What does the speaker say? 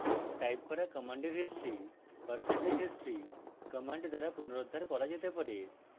type করা commands history percentage history commands দ্বারা পুনরুদ্ধার করা যেতে পারে